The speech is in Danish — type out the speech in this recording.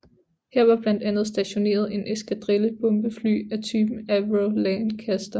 Her var blandt andet stationeret en eskadrille bombefly af typen Avro Lancaster